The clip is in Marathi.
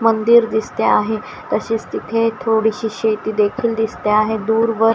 मंदिर दिसते आहे तसेच तिथे थोडीशी शेती देखील दिसते आहे दूरवर --